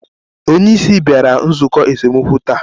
Onye isi bịara nzukọ esemokwu taa?